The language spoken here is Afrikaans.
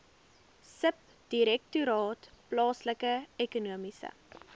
subdirektoraat plaaslike ekonomiese